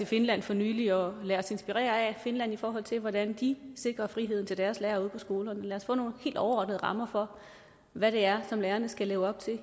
finland for nylig at og lade os inspirere af finland i forhold til hvordan de sikrer friheden til deres lærere ude på skolerne lad os få nogle helt overordnede rammer for hvad det er som lærerne skal leve op til